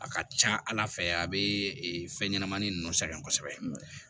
A ka ca ala fɛ a bɛ fɛn ɲɛnɛmani ninnu sɛgɛn kosɛbɛ